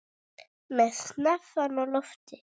Með hnefann á lofti.